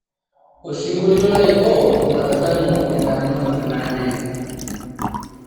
osingolio laiko matadamu endamunot naje